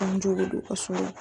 An jogo don ka so